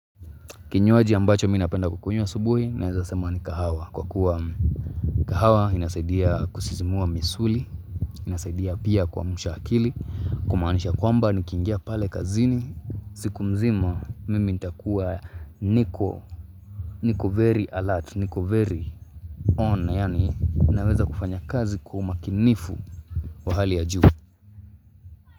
Kinywaji ambacho mimi napenda kukunywa asubuhi naeza sema ni kahawa Kwa kuwa kahawa inasaidia kusisimua misuli, inasaidia pia kuamsha akili Kumanisha kwamba nikiingia pale kazini, siku mzima mimi nitakuwa niko, niko very alert, niko very on yaani naweza kufanya kazi kwa umakinifu wa hali ya juu.